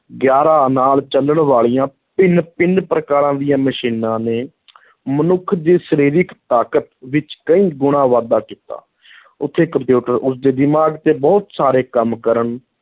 ਗਿਆਰਾਂ ਨਾਲ ਚੱਲਣ ਵਾਲੀਆਂ ਭਿੰਨ-ਭਿੰਨ ਪ੍ਰਕਾਰ ਦੀਆਂ ਮਸ਼ੀਨਾਂ ਨੇ ਮਨੁੱਖ ਦੀ ਸਰੀਰਕ ਤਾਕਤ ਵਿੱਚ ਕਈ ਗੁਣਾ ਵਾਧਾ ਕੀਤਾ ਉੱਥੇ ਕੰਪਿਊਟਰ ਉਸਦੇ ਦਿਮਾਗ਼ ਤੇ ਬਹੁਤ ਸਾਰੇ ਕੰਮ ਕਰਨ